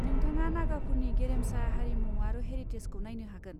नोंथाङा नागाफोरनि गेरेमसा हारिमु आरो हेरिटेजखौ नायनो हागोन।